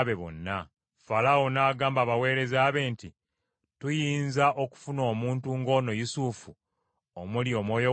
Falaawo n’agamba abaweereza be nti, “Tuyinza okufuna omuntu ng’ono Yusufu omuli Omwoyo wa Katonda?”